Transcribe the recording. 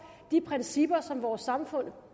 de principper som vores samfund